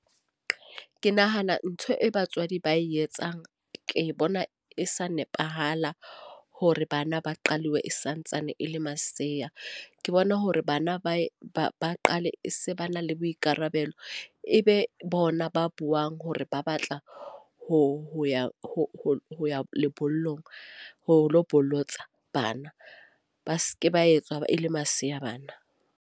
Ke nahana ntho e batswadi ba e etsang. Ke bona e sa nepahala hore bana ba qalwe e santsane e le masea. Ke bona hore bana ba ba qale se ba na le le boikarabelo. E be bona ba buang hore ba batla ho ya ho ya lebollong ho lo bolotsa bana. Ba se ke ba etswa e le masea bana.